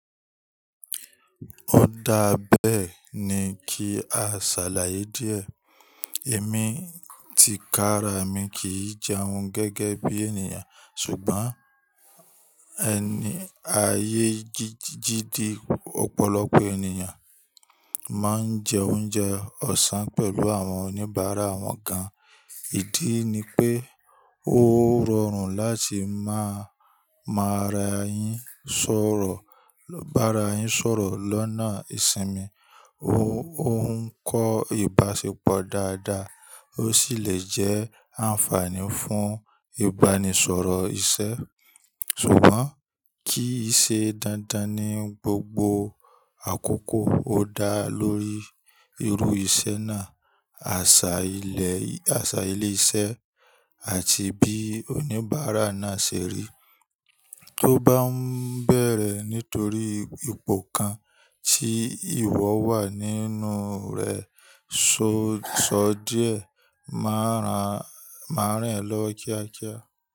Ó dáa beẹ́ ní kí a ṣàlàyé díẹ̀. Èmi tikára mi kì í jẹun gẹ́gẹ́ bí ènìyàn ṣùgbọ́n eni ayé jiji ji ti, ọ̀pọ̀lọpọ̀ ènìyàn mo máa ń jẹ oúnjẹ ọ̀sán pẹ̀lú àwọn oníbàárà awọnkan. Ìdí ni pé ó rọrùn láti máa máa ra yín sọ̀rọ̀, lo bara yín sọ̀rọ̀ lọ́nà ìsinmi. Ó ń kọ́ ìbáṣepọ̀ dáadáa, ó sì lè jẹ́ àǹfààní fún ìbánisọ̀rọ̀ iṣẹ́. Ṣùgbọ́n kí í ṣe dandan ní gbogbo àkókò ó dá lórí irú iṣẹ́ náà, àṣà ilé, Asa ile ise, iṣẹ́ àti bí oníbàárà náà ṣe rí. Tó bá ń bẹ̀rẹ̀ nítorí ipò kan tí ìwọ wà nínú rẹ̀, so sọ díẹ̀, máa ra, maa ran e lọ́wo kíákíá.